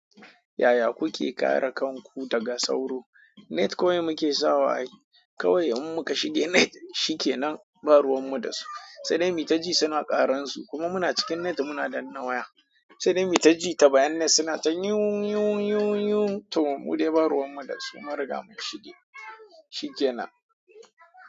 Yaya kuke kare kanku daga sauro? Net kawai muke sawa. Kawai in muka shiga net shikenan, ba ruwan mu da su. Sai dai mitaji suna ƙaransu kuma muna cikin net muna danna waya. Sai dai mitaji ta bayan net suna ta nyun nyun nyun nyun to mu dai ba ruwan mu da su. Mun riga mun shage, shikenan.